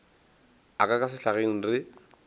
a ka ka sehlageng re